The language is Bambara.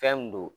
Fɛn min do